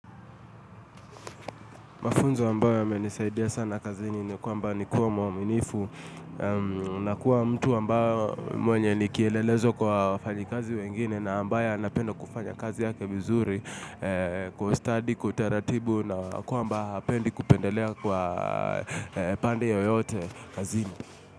Mafunzo ambayo yamenisaidia sana kazini ni kwamba ni kuwa, mwaminifu. Unakuwa mtu ambao mwenye ni kielelezo kwa wafanyikazi wengine na ambaye anapenda kufanya kazi yake vizuri. Kwa ustadi, kwa utaratibu na kwamba hapendi kupendelea kwa pande yoyote kazini.